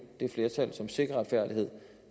det flertal som sikrer retfærdighed